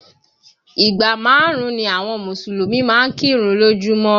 Ìgbà márùn-ún ni àwọn Mùsùlùmí máa ń kírun lójú mọ́